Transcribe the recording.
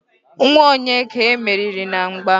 nwa onye ka e meriri na mgba?